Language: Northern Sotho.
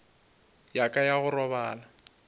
ya ka ya go robala